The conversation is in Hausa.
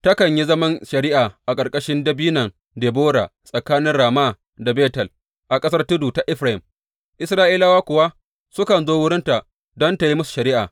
Takan yi zaman shari’a a ƙarƙashin Dabinon Debora tsakanin Rama da Betel, a ƙasar tudu ta Efraim, Isra’ilawa kuwa sukan zo wurinta don tă yi musu shari’a.